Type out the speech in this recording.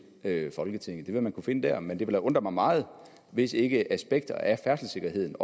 folketinget det vil man kunne finde der men det vil da undre mig meget hvis ikke også aspekter af færdselssikkerheden